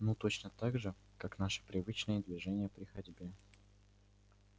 ну точно так же как наши привычные движения при ходьбе